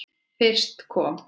Fyrst kom